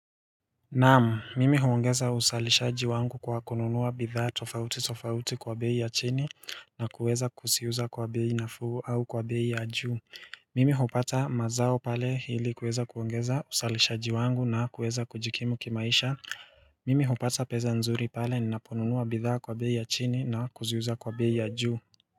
Naam, mimi huongeza uzalishaji wangu kwa kununua bidhaa tofauti tofauti kwa beii ya chini na kuweza kuziuza kwa beii na fuu au kwa beii ya juu Mimi hupata mazao pale hili kuweza kuongeza uzalishaji wangu na kuweza kujikimu kimaisha Mimi hupata pesa nzuri pale ninaponunua bidhaa kwa beii ya chini na kuziuza kwa beii ya juu.